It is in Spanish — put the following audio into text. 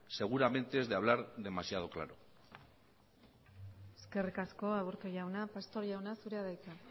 seguramente es de hablar demasiado claro eskerrik asko aburto jauna pastor jauna zurea da hitza